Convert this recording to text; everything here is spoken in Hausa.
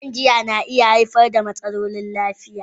Shan giya da yawa na iya haifar da matsalolin lafiya.